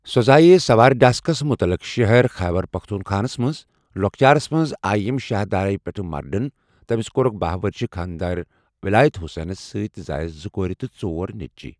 سۄ زاے سوارِ داسٹکس متعلق شہر ، خیبر پختونخواہس مَنٛز۔ لوکچارس مَنٛز آی یم شاہ دہرائی پؠٹھ مرڈن۔ تمس کورکھ باہ ورشہ خاندر ولایت حسینس سیت تہِ زایس زٕ کورِ تہ ژۄر نیچی.